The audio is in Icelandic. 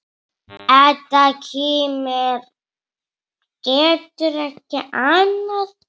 Edda kímir, getur ekki annað.